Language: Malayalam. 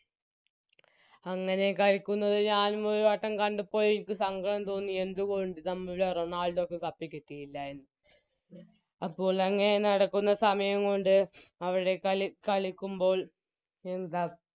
അങ്ങനെ കളിക്കുന്നത് ഞാനും ഒരു വട്ടം കണ്ടപ്പോൾ എനിക്ക് സങ്കടം തോന്നി എന്തുകൊണ്ട് നമ്മുടെ റൊണാൾഡോക്ക് Cup കിട്ടില്ല എന്ന് അപ്പോൾ അങ്ങനെ നടക്കുന്ന സമയം കൊണ്ട് അവരുടെ കളി കളിക്കുമ്പോൾ എന്താ